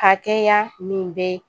Hakɛya min bɛ